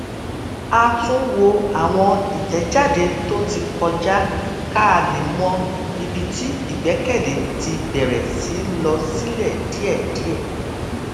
a tún wo àwọn ìtèjáde tó ti kọjá ká lè mọ ibi tí ìgbékèlé ti bèrè sí lọ sílè díèdíè